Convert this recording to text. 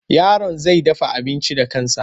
Yaron zai dafa abinci da kansa.